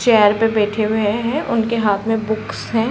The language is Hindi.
चेयर पे बैठे हुए हैं। उनके हाथ में बुक्स हैं।